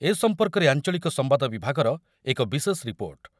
ଏ ସମ୍ପର୍କରେ ଆଞ୍ଚଳିକ ସମ୍ବାଦ ବିଭାଗର ଏକ ବଶେଷ ରିପୋର୍ଟ